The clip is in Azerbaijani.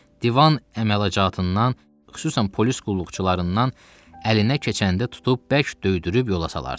Divan əmalacatından, xüsusan polis qulluqçularından əlinə keçəndə tutub bərk döydürüb yola salardı.